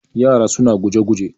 yara suna guje-guje